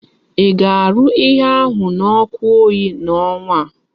Í ga-arụ ihe ahu na oku oyi na onwa a?